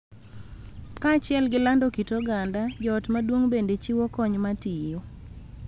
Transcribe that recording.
Kaachiel gi lando kit oganda, joot maduong� bende chiwo kony ma tiyo .